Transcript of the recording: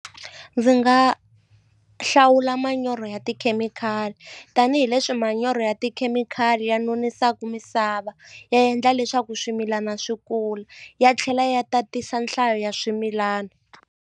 Ndzi nga hlawula manyoro ya tikhemikhali tanihileswi manyoro ya tikhemikhali ya nonisa eka misava ya endla leswaku swimilana swi kula ya tlhela ya tatisa nhlayo ya swimilana.